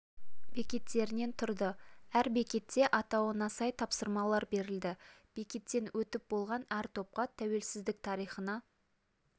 бекеттерінен тұрды әр бекетте атауына сай тапсырмалар берілді бекеттен өтіп болған әр топқа тәуелсіздік тарихына